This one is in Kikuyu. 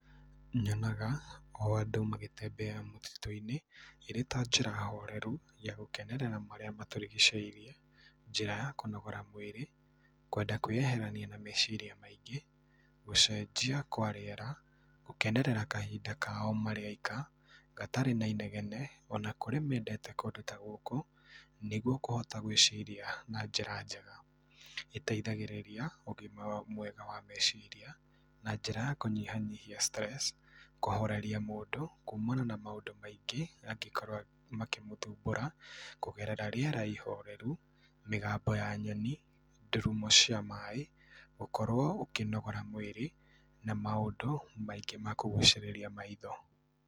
Nyonaga o andũ magĩtembea mũtitũ-inĩ ĩrĩ ta njĩra horeru ya gũkenerera marĩa matũrigicĩirie njĩra ya kũnogora mũĩrĩ kwenda kũĩyeherania na meciria maingĩ , gũcenjia kwa rĩera, gũkenerera kahinda kao marĩ aika gatarĩ na inegene ona kũrĩ mendete kũndũ ta gũkũ nĩgũo kũhota gwĩciria na njĩra njega, ĩteithagĩrĩria ũgima mwega wa meciria na njíĩa ya kũnyihanyihia stress kũhoreria mũndũ kumana na maũndũ maingĩ mangĩkorwo makĩmũthumbũra kũgerera rĩera ihoreru ,mĩgambo ya nyoni, ndurumo cia maĩ , gũkorwo ũkĩnogora mũĩrĩ na maũndũ maingĩ ma kũgucĩrĩria maitho.